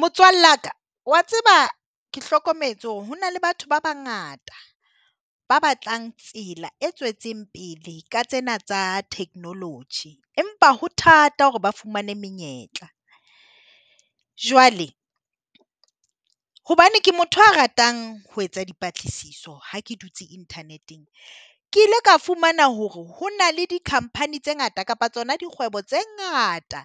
Motswalla ka wa tseba ke hlokometse hore hona le batho ba bangata ba batlang tsela e tswetseng pele ka tsena tsa technology, empa ho thata hore ba fumane menyetla. Jwale hobane ke motho a ratang ho etsa dipatlisiso ha ke dutse internet-eng, ke ile ka fumana hore ho na le di company tse ngata kapa tsona dikgwebo tse ngata